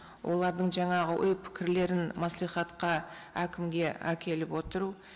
олардың жаңағы ой пікірлерін маслихатқа әкімге әкеліп отыру